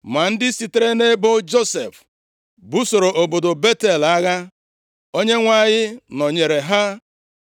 Ma ndị sitere nʼebo Josef busoro obodo Betel agha. Onyenwe anyị nọnyeere ha.